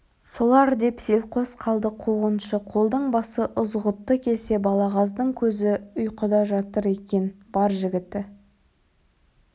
солар деп селқос қалды қуғыншы қолдың басы ызғұтты келсе балағаздың көзі ұйқыда жатыр екен бар жігіті